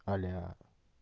аля